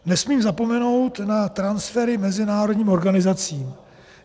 Nesmím zapomenout na transfery mezinárodním organizacím.